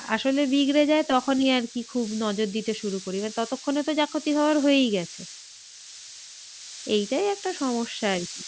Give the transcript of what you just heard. আসলে বিগড়ে যায় তখনই আর কি খুব নজর দিতে শুরু করি এবার ততক্ষনে যা ক্ষতি হওয়ার হয়েই গেছে। এইটাই একটা সমস্যা আর কি